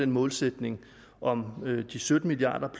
målsætningen om de sytten milliard